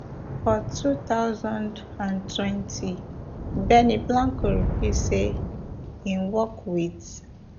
for two thousand and twenty benny blanco reveal say im work wit